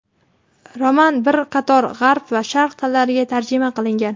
Roman bir qator G‘arb va Sharq tillariga tarjima qilingan.